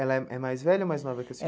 Ela é mais velha ou mais nova que a senhora?